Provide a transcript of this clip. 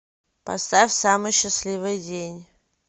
поставь самый счастливый день